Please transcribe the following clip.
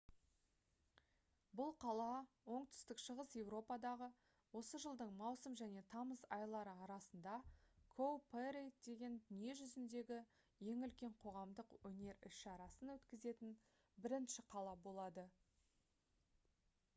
бұл қала оңтүстік шығыс еуропадағы осы жылдың маусым және тамыз айлары арасында «cowparade» деген дүние жүзіндегі ең үлкен қоғамдық өнер іс-шарасын өткізетін бірінші қала болады